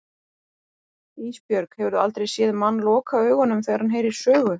Ísbjörg, hefurðu aldrei séð mann loka augunum þegar hann heyrir sögu?